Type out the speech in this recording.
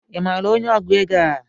I maara onye ọgụ égo a?